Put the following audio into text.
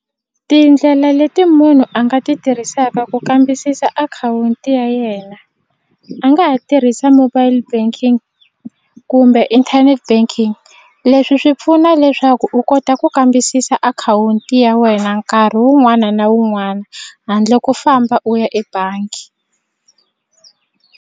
Tindlela leti munhu a nga ti tirhisaka ku kambisisa akhawunti ya yena a nga ha tirhisa mobile banking kumbe internet banking leswi swi pfuna leswaku u kota ku kambisisa akhawunti ya wena nkarhi wun'wana na wun'wana handle ko famba u ya ebangi.